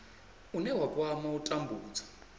une wa kwama u tambudzwa